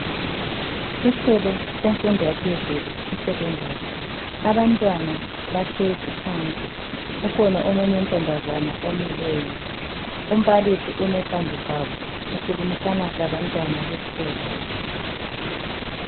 Esikolo semfundo yaphezulu isecondary abantwana bahlezi phansi ukhona omunye ontombazana omileyo umbalisi ume phambi kwabo ukhulimisana labantwana besikolo.